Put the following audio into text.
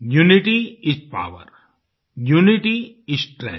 unity is power unity is strength